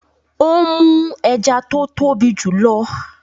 Ó mú ẹja tó tóbi jù lọ.